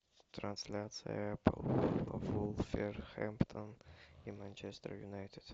трансляция апл вулверхэмптон и манчестер юнайтед